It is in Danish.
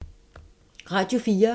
Radio 4